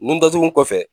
Nun datugu